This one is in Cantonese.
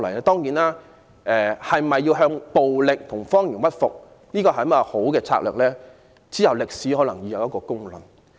當然，向暴力和謊言屈服是否好策略，往後歷史將會有公論。